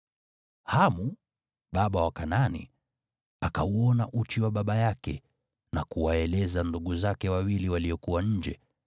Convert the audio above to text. Hamu, baba wa Kanaani, akauona uchi wa baba yake na kuwaeleza ndugu zake wawili waliokuwa nje.